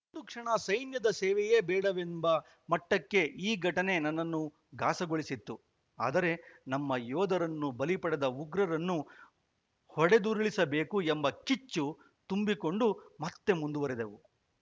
ಒಂದು ಕ್ಷಣ ಸೈನ್ಯದ ಸೇವೆಯೇ ಬೇಡವೆಂಬ ಮಟ್ಟಕ್ಕೆ ಈ ಘಟನೆ ನನ್ನನ್ನು ಘಾಸಿಗೊಳಿಸಿತ್ತು ಆದರೆ ನಮ್ಮ ಯೋಧರನ್ನು ಬಲಿ ಪಡೆದ ಉಗ್ರರನ್ನು ಹೊಡೆದುರುಳಿಸಬೇಕು ಎಂಬ ಕಿಚ್ಚು ತುಂಬಿಕೊಂಡು ಮತ್ತೆ ಮುಂದುವರಿದೆವು